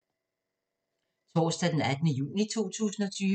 Torsdag d. 18. juni 2020